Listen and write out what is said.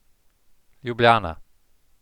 Ljubljana.